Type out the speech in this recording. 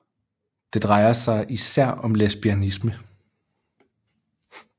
Det drejer sig især om lesbianisme